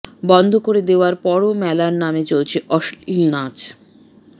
বন্ধ করে দেওয়ার পরও মেলার নামে চলছে অশ্লীল নাচ